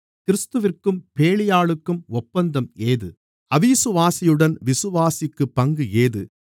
கிறிஸ்துவிற்கும் பேலியாளுக்கும் ஒப்பந்தம் ஏது அவிசுவாசியுடன் விசுவாசிக்குப் பங்கு ஏது